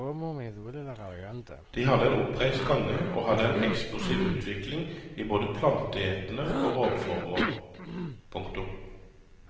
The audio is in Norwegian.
De hadde en oppreist gange og hadde en eksplosiv utvikling i både planteetende og rovformer. punktum